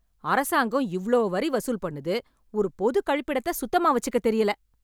அரசாங்கம் இவ்ளோ வரி வசூல் பண்ணுது, ஒரு பொது கழிப்பிடத்த சுத்தமா வெச்சிக்கத் தெரியல.